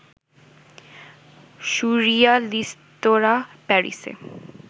সুররিয়ালিস্তরা প্যারিসে